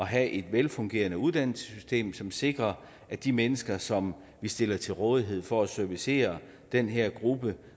have et velfungerende uddannelsessystem som sikrer at de mennesker som vi stiller til rådighed for at servicere den her gruppe